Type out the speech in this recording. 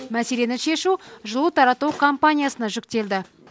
мәселені шешу жылу тарату компаниясына жүктелді